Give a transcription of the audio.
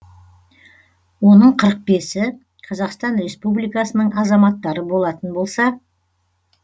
оның қырық бесі қазақстан республикасының азаматтары болатын болса